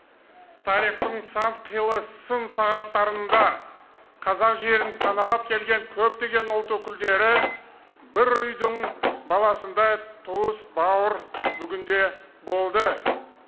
тарихтың сан қилы сын сағаттарында қазақ жерін паналап келген көптеген ұлт өкілдері бір үйдің баласындай туыс бауыр бүгінде болды